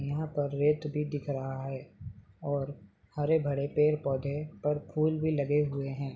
यहा पर रैत भी दिख रहा है और हरे भरे पैद पोधे पर फूल भी लगे हुए है।